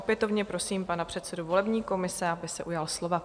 Opětovně prosím pana předsedu volební komise, aby se ujal slova.